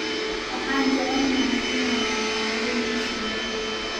Waxaan jecelnahay inaan cunno kalluunka shiilan.